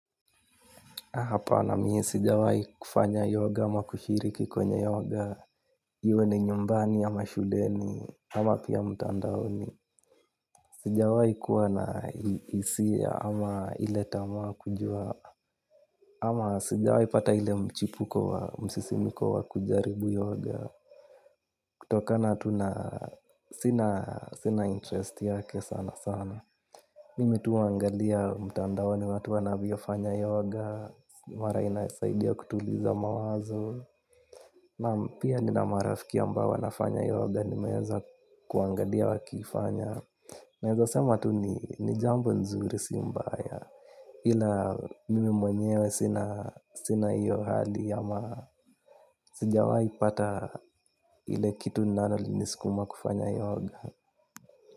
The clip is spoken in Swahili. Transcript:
Hapana mi sijawai kufanya yoga au kushiriki kwenye yoga. Iwe ni nyumbani ama shuleni ama pia mutandaoni sijawai kuwa na hisia ama ile tamaa kujua ama sijawai pata ile mchipuko wa msisimko wa kujaribu yoga. Kutokana tu na sina interest yake sana sana. Mimi tu huwa angalia mtandaoni watu wanavyofanya yoga. Mara inasaidia kutuliza mawazo naam, pia nina marafiki ambao wanafanya yoga nimeweza kuangalia wakifanya naeza sema ni jambo mzuri si mbaya ila mimi mwenyewe sina hiyo hali ama sijawai pata ile kitu linalo ni sukuma kufanya yoga.